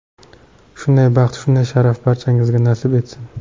Shunday baxt, shunday sharaf barchangizga nasib etsin!